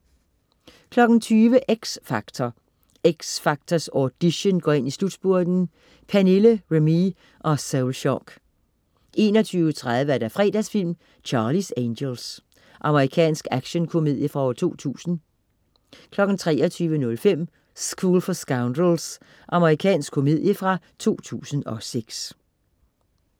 20.00 X Factor. X Factors audition går ind i slutspurten. Pernille, Remee og Soulshock 21.30 Fredagsfilm: Charlie's Angels. Amerikansk actionkomedie fra 2000 23.05 School for Scoundrels. Amerikansk komedie fra 2006